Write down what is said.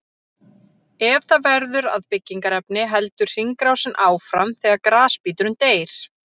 Ef það verður að byggingarefni heldur hringrásin áfram þegar grasbíturinn deyr.